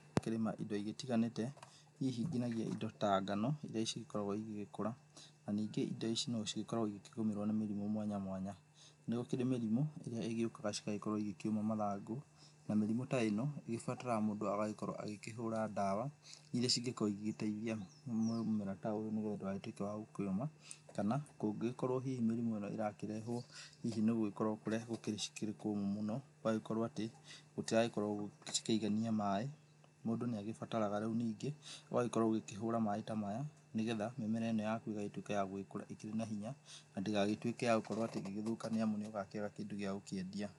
Tũkĩrĩma indo igĩtiganĩte, hihi nginyagia indo ta ngano, indo ici ikoragũo igĩgĩkũra na ningĩ indo ici no cigĩkoragũo igĩkĩgũmĩrũo nĩ mĩrimũ mwanya mwanya nĩ gũkĩrĩ mĩrimũ ĩrĩa ĩgĩukaga cigakorũo igĩkĩũma mathangũ na mĩrimũ ta ĩno nĩ ĩgĩbataraga mũndũ agagĩkorũo agĩkĩhũra ndawa irĩa cingĩkũrũo igĩteithia mũmera ta ũyũ nĩgetha ndũgagĩtuĩke wa gũkĩũma kana kũngĩgĩkorũo mĩrimũ ĩno ĩrakĩrehũo nĩ gũgĩkorũo kũrĩa cirĩ gũkĩrĩ kũmũ mũno, gũgagĩkorũo atĩ gũtiragĩkorũo cikĩigania maaĩ, mũndũ nĩ agĩbataraga rĩu ningĩ ũgagĩkorũo ũgĩkĩhũra maaĩ ta maya nĩgetha mĩmera ĩno yaku ĩgagĩtuĩka ya gũgĩkũra ĩkĩrĩ na hinya na ndĩgagĩtuĩke ya gũkorũo atĩ ĩgĩthũka nĩ amu nĩ ũgakĩaga kĩndũ gĩa gũkĩendia.